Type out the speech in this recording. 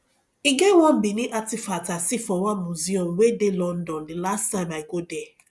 e get one benin artefact i see for one museum wey dey london the last time i go there